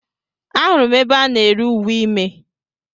Ahụrụ m ebe a na-ere uwe ime